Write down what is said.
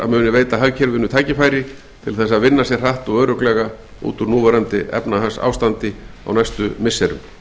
að muni veita hagkerfinu tækifæri til þess að vinna sig hratt og örugglega út úr núverandi efnahagsástandi á næstu misserum